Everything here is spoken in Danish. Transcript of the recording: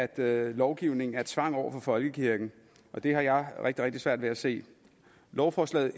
at lovgivningen er tvang over for folkekirken det har jeg rigtig rigtig svært ved at se lovforslag